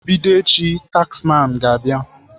Bido echi, taxman ga-abịa.